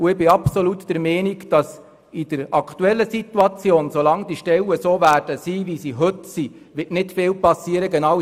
Ich bin absolut der Meinung, dass in der aktuellen Situation, solange die Stellen sind, wie sie heute sind, nicht viel geschehen wird.